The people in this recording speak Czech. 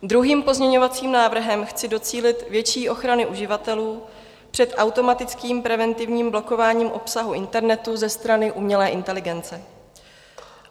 Druhým pozměňovacím návrhem chci docílit větší ochrany uživatelů před automatickým preventivním blokováním obsahu internetu ze strany umělé inteligence.